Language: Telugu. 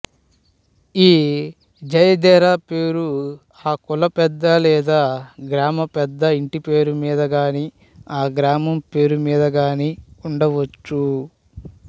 ఈ జథేరా పేరు ఆ కులపెద్ద లేదా గ్రామపెద్ద ఇంటిపేరు మీద గానీ గ్రామం పేరు మీద గానీ ఉండవచ్చు